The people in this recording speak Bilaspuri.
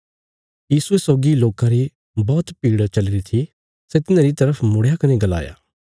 यीशुये सौगी लोकां री बौहत भीड़ चलीरी थी सै तिन्हारी तरफ मुड़या कने गलाया